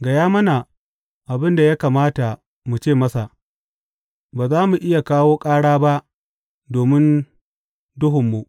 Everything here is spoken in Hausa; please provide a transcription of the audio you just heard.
Gaya mana abin da ya kamata mu ce masa; ba za mu iya kawo ƙara ba domin duhunmu.